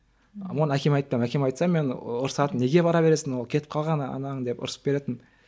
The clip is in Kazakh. оны әкем айтпаймын әкеме айтсам мен ұрсатын неге бара бересің ол кетіп қалған анаң деп ұрсып беретін